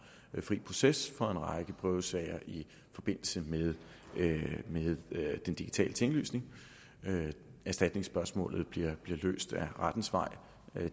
fri proces for en række prøvesager i forbindelse med den digitale tinglysning erstatningsspørgsmålet bliver løst ad rettens vej